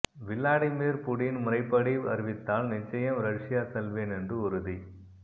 Vladimir Putin முறைப்படி அறிவித்தால் நிச்சயம் ரஷ்யா செல்வேன் என்று உறுதி